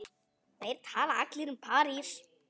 Þeir tala allir um París.